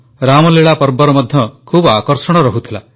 ରାମଲୀଳା ପର୍ବର ମଧ୍ୟ ଖୁବ ଆକର୍ଷଣ ରହୁଥିଲା